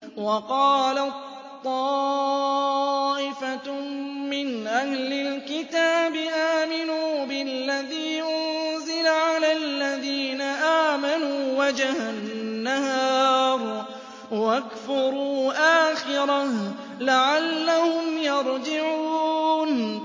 وَقَالَت طَّائِفَةٌ مِّنْ أَهْلِ الْكِتَابِ آمِنُوا بِالَّذِي أُنزِلَ عَلَى الَّذِينَ آمَنُوا وَجْهَ النَّهَارِ وَاكْفُرُوا آخِرَهُ لَعَلَّهُمْ يَرْجِعُونَ